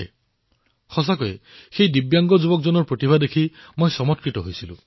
মই সঁচাকৈয়ে সেই দিব্যাংগ তৰুণজনৰ শক্তিত প্ৰভাৱিত হলো